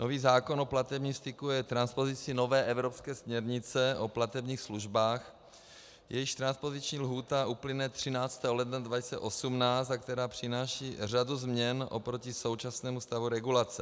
Nový zákon o platebním styku je transpozicí nové evropské směrnice o platebních službách, jejíž transpoziční lhůta uplyne 13. ledna 2018 a která přináší řadu změn oproti současnému stavu regulace.